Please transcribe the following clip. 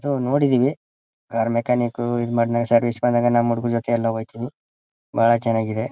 So ನೋಡಿದೀವಿ car mechanic ಇದು ಮಾಡಿದಾಗ ಸರ್ವಿಸ್ ಗೆ ಬಂದಾಗ ನಮ್ಮ್ ಹುಡುಗರ ಜತೆ ಎಲ್ಲ ಹೋಯ್ತಿವಿ ಬಹಳ ಚೆನ್ನಾಗಿದೆ.